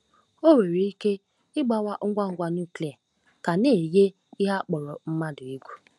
O nwere ike ịgbawa ngwa ngwa nuklia ka na-eyi ihe a kpọrọ mmadụ egwu.